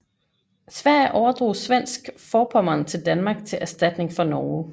Sverige overdrog Svensk Forpommern til Danmark til erstatning for Norge